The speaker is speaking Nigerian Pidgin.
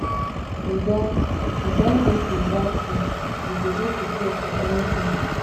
we don we don dey preserve food we go dey prepared for anytin